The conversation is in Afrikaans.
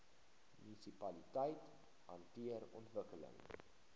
munisipaliteite hanteer ontwikkeling